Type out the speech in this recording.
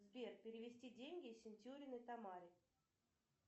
сбер перевести деньги сентюриной тамаре